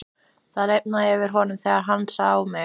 Það lifnaði yfir honum þegar hann sá mig.